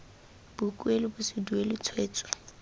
boikuelo bo se duelwe tshwetso